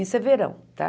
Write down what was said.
Isso é verão, tá?